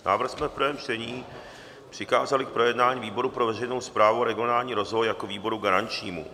Návrh jsme v prvém čtení přikázali k projednání výboru pro veřejnou správu a regionální rozvoj jako výboru garančnímu.